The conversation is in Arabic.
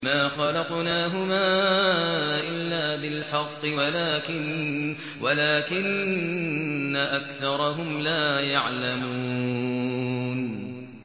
مَا خَلَقْنَاهُمَا إِلَّا بِالْحَقِّ وَلَٰكِنَّ أَكْثَرَهُمْ لَا يَعْلَمُونَ